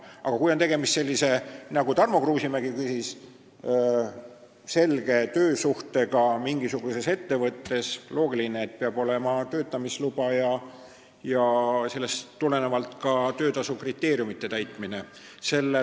Aga kui on tegemist selge töösuhtega mingis ettevõttes, mille kohta Tarmo Kruusimäe küsis, siis on loogiline, et peab olema töötamisluba ja tuleb arvestada töötasu kohta kehtestatud kriteeriume.